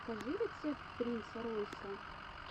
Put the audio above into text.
покажи рецепт принца ройса